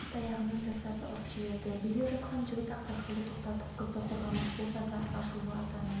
таяғымен жастарды ұрып жіберді билеп жатқан жігіт ақсақалды тоқтатып қызды қорғамақ болса да ашулы атаны